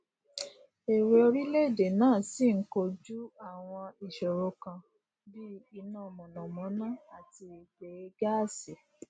èwè orílèèdè náà ṣi n kojú àwọn ìṣòro kan bí i inà mònàmóná àti ìpèeè gáásì